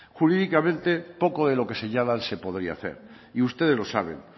jurídicamente poco de lo que señalan se podría hacer y ustedes lo saben